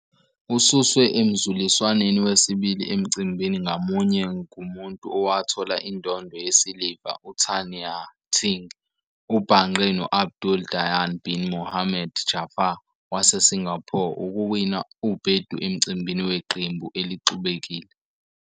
Ususwe emzuliswaneni wesibili emcimbini ngamunye ngumuntu owathola indondo yesiliva uTan Ya-Ting. Ubhangqe no-Abdul Dayyan bin Mohamed Jaffar waseSingapore ukuwina ubhedu emcimbini weqembu elixubekile.